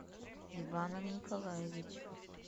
иваном николаевичем